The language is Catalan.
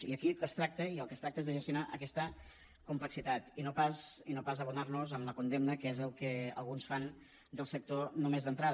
i aquí del que es tracta i es tracta de gestionar aquesta complexitat i no pas abonar nos en la condemna que és el que alguns fan del sector només d’entrada